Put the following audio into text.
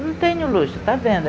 não tem nenhum luxo, está vendo?